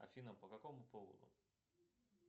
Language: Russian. афина по какому поводу